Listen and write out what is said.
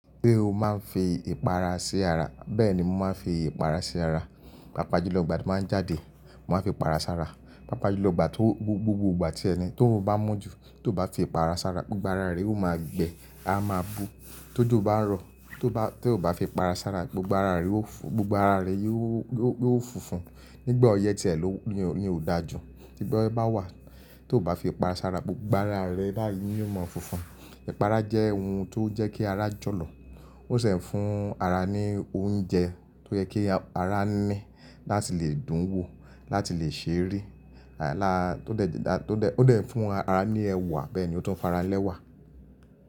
Pé o máa ń fi ìpara sí ara bẹ́ẹ̀ ni mo máa ń fi ìpara sí ara. Pápá jù lọ́ igbà tí màá jáde, màá fi para sára. Pápá jù lọ́ gbà to gbogbo ìgbà tí ẹni tóun bá mọ́jú tó bá fi ìpara sára, gbogbo ara rẹ ó máa gbẹ a máa bu. Tójò bá ń rọ tó bá, tó bá fi ìpara sára gbogbo ara rẹ ó fún, gbogbo ara rẹ yóò ó fúnfún. Nígbà ọyẹ́ ti ẹ ló ni ò dáa jù, tí gbọ́ yé bá wà tó bá fi ìpara sára gbogbo ara rẹ báàyè ni yóò máa fúnfún. Ìpara jẹ́ ohun tó ń jẹ́ kí ara jọ̀lọ̀. Ó sì ń fún ara ní oúnjẹ tó yẹ kí ara ní láti lè dún wò, láti lè ṣe rí. Láàrá tó dẹ̀, tó dẹ̀, ó dẹ̀ ń fún ara ní ẹwà bẹ́ẹ̀ ni ó tún ń fara lẹ́wà.